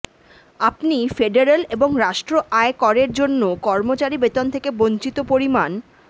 আপনি ফেডারেল এবং রাষ্ট্র আয় করের জন্য কর্মচারী বেতন থেকে বঞ্চিত পরিমাণ